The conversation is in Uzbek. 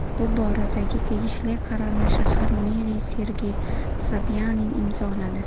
Bu boradagi tegishli qarorni shahar meri Sergey Sobyanin imzoladi .